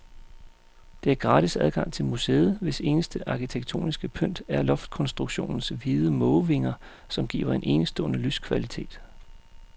Der er gratis adgang til museet, hvis eneste arkitektoniske pynt er loftkonstruktionens hvide mågevinger, som giver en enestående lyskvalitet.